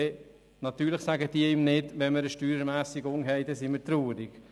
Natürlich teilen sie ihm nicht mit, sie wären über Steuerermässigungen traurig;